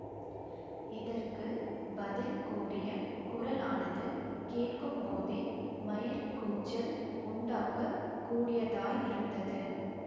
இதற்கு பதில் கூறிய குரலானது கேட்கும்போதே மயிர்க் கூச்சல் உண்டாக்க கூடியதாயிருந்தது